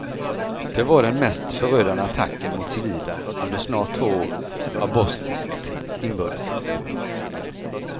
Det var den mest förödande attacken mot civila under snart två år av bosniskt inbördeskrig.